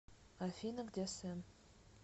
афина где сэм